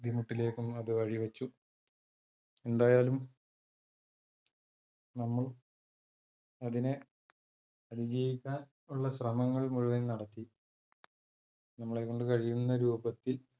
ബുദ്ധിമുട്ടിലേക്കും അത് വഴി വെച്ചു, എന്തായാലും നമ്മൾ അതിനെ അതിജീവിക്കാൻ ഉള്ള ശ്രമങ്ങൾ മുഴുവൻ നടത്തി നമ്മളെ കൊണ്ട് കഴിയുന്ന രൂപത്തിൽ -